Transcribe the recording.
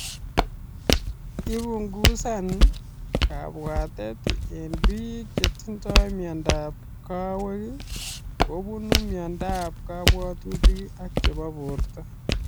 Ipungusan kapwatet eng piik chetindoi miondap kawek kopunr miondap kapwatutik ak chepo borto